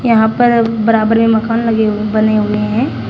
यहां पर बराबर में मकान लगे हुए बने हुए हैं।